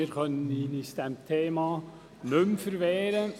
Wir können uns diesem Thema nicht mehr verweigern.